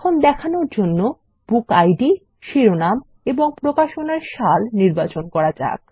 এখন দেখানোর জন্য বুকিড শিরোনাম এবং প্রকাশনার সাল নির্বাচন করা যাক